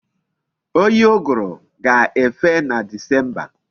Oyi uguru ga-efe na disemba.